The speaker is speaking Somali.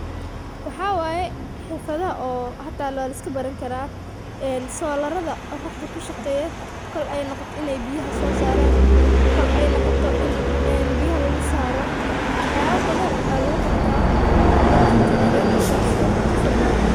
Waxa waye xirfado oo laiskabarani karo solarada qoraxda kushaqeyo kool ey noqoto in buyaha lugusosaro iyo wax yalo badan luguqawani karo.